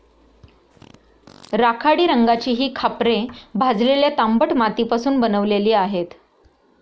राखाडी रंगाची ही खापरे भाजलेल्या तांबट मातीपासून बनवलेली आहेत.